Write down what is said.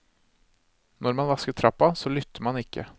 Når man vasker trappa, så lytter man ikke.